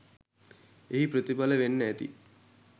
එහි ප්‍රතිඵල වෙන්න ඇති